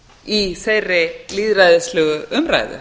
í þeirri lýðræðislegu umræðu